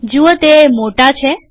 જુઓ તે મોટા છે